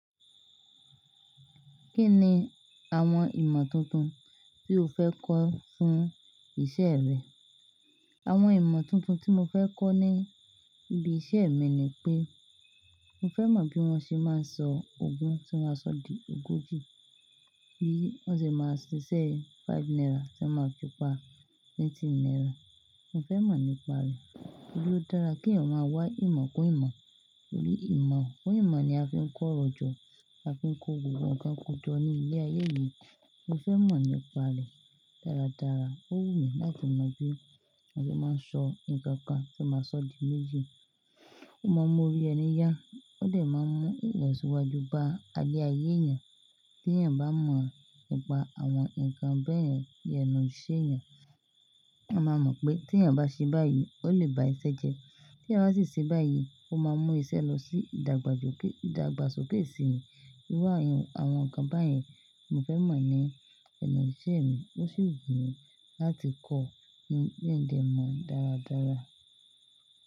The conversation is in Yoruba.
Kí ni àwọn ìmọ̀ tuntun tí o fẹ́ kọ́ fún isẹ́ rẹ? Àwọn ìmọ̀ tuntun tí mo fẹ́ kọ́ ní ibi isẹ́ mi ni pé mo fẹ́ mọ̀ bí wọ́n ṣe máa ń sọ ogún tí ó máa sọ di ogójì, bí wọ́n ṣe máa ṣiṣẹ́ five naira tí ẹ máa fi pa twenty naira. Mo fẹ́ mọ̀ nípa rẹ̀. Ó dára kèèyàn máa wá ìmọ̀ kún ìmọ̀. Torí ìmọ̀ kún ìmọ̀ ni a fi ń kọ́rọ̀ jọ̀, a fi ń kọ́ gbogbo nǹkan kan ko jọ ní ilé ayé yìí. Mo fẹ́ mọ̀ nípa rẹ̀ dáradára. Ó wù mí láti mọ̀ bi wọn ṣe máa ń sọ nǹkan kan tí wón máa sọ di méjì. Mo mọ̀ orí ẹni yá, ó dẹ̀ máa ń mú ìlọsíwájú bá ayé ayé èèyàn. T'eèyàn bá mọ̀ nípa àwọn nǹkan bẹ́ẹ̀yen, ní ẹnu ṣe èeyàn, a máa mọ̀ pé t'èèyàn bá ṣe báyìí, ó lè bá iṣẹ́ jẹ. T'èèyàn bá sì ṣe báyìí, ó máa mú iṣẹ́ lọ sí ìdàgbàsókè síi. Iru àwọn nǹkan báyìí, mo fẹ́ mọ̀ ní ẹnu ìṣe mi. Ó sì wù mí láti kọ́ ní dẹ mọ̀ dáradára.